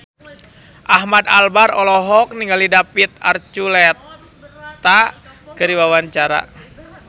Ahmad Albar olohok ningali David Archuletta keur diwawancara